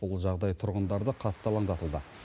бұл жағдай тұрғындарды қатты алаңдатуда